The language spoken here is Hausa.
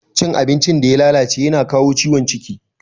Cin abincin da ya lalace yana kawo ciwon ciki.